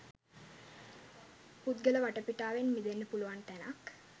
පුද්ගල වටපිටාවෙන් මිදෙන්න පුළුවන් තැනක්.